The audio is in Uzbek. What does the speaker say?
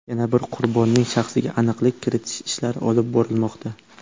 Yana bir qurbonning shaxsiga aniqlik kiritish ishlari olib borilmoqda.